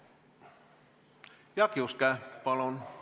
Jaak Juske, palun!